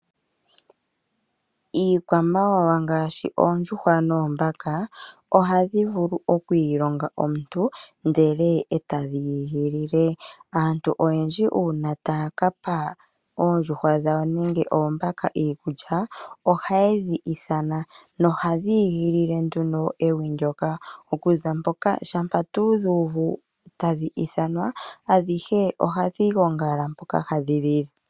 Iikwamawawa ngaashi oondjuhwa noombaka ohadhi vulu okwiilonga omuntu ndele etadhi igilile . Aantu oyendji uuna taya kapa oondjuhwa dhawo nenge oombaka iikulya ohaye dhi ithana nohadhi igilile nduno ewi ndjoka. Okuza mpoka shampa dhu uvu tadhi ithanwa adhihe ohadhi gongala mpoka hadhi lile.